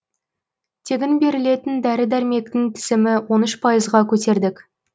тегін берілетін дәрі дәрмектің тізімі он үш пайызға көтердік